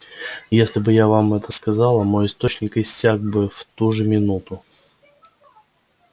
если бы я вам это сказала мой источник иссяк бы в ту же минуту